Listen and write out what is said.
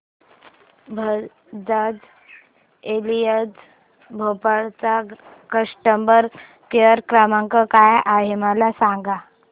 Bajaj Allianz Bhopal चा customer care क्रमांक काय आहे मला सांगा